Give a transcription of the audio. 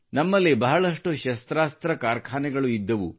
ನಮ್ಮಲ್ಲಿ ಬಹಳಷ್ಟು ಶಸ್ತ್ರಾಸ್ತ್ರ ಕಾರ್ಖಾನೆಗಳು ಇದ್ದವು